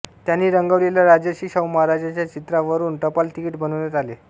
त्यांनी रंगवलेल्या राजर्षि शाहू महाराजांच्या चित्रावरून टपाल तिकिट बनवण्यात आले